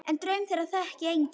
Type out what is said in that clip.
En draum þeirra þekkti enginn.